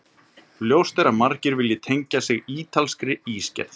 Ljóst er að margir vilja tengja sig ítalskri ísgerð.